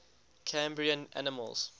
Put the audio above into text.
cambrian animals